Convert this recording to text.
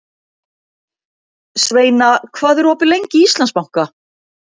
Sveina, hvað er opið lengi í Íslandsbanka?